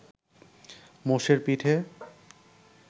মোষের পিঠে